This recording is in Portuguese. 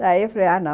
Daí eu falei, ah, não.